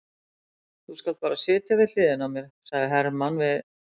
Þú skalt bara sitja við hliðina á mér, sagði Hermann við